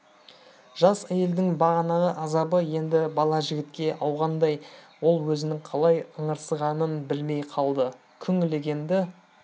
жас әйелдің бағанағы азабы енді бала жігітке ауғандай ол өзінің қалай ыңырсығанын білмей қалды күң легенді